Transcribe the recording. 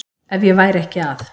Ef ég væri ekki að